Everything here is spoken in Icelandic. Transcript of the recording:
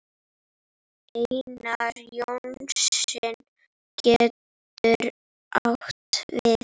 Einar Jónsson getur átt við